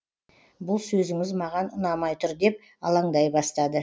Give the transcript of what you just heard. бұл сөзіңіз маған ұнамай тұр деп алаңдай бастады